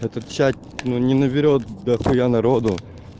этот чат но не наберёт дахуя народу